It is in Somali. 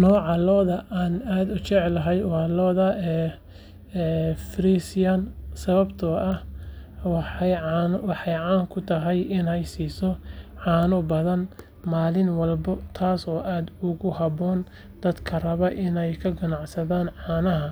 Nooca lo’da aan aad u jecelahay waa lo’da Friesian sababtoo ah waxay caan ku tahay inay siiso caano badan maalin walba taasoo aad ugu habboon dadka raba inay ka ganacsadaan caanaha